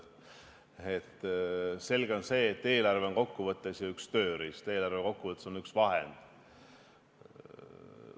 Selge on see, et eelarve on kokku võttes üks tööriist, eelarve on üks vahend.